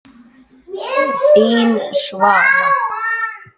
Þín, Svava.